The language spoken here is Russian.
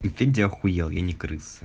и ты ахуел я не крыса